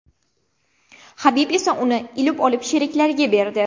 Habib esa uni ilib olib sheriklariga berdi.